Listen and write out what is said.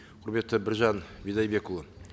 құрметті біржан бидайбекұлы